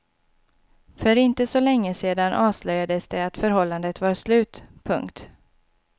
För inte så länge sedan avslöjades det att förhållandet var slut. punkt